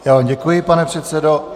Já vám děkuji, pane předsedo.